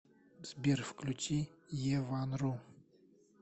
сбер включи е ван ру